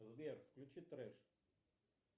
сбер включи трэш